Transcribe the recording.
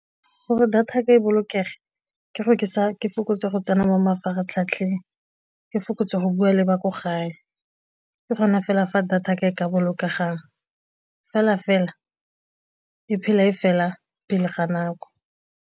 Gore data ya ka e bolokege, ke gore ke sa ke fokotse go tsena mo mafaratlhatlheng ke fokotse go bua le ba ko gae ke kgona fela fa data ka e ka bolokega jang, fela fela e phela e fela pele ga nako.